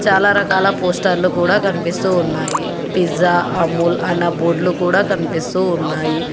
చాలా రకాల పోస్టర్లు కూడ కనిపిస్తూ ఉన్నాయి పిజ్జా అమూల్ అన బోర్డ్లు గూడ కనిపిస్తూ ఉన్నాయి.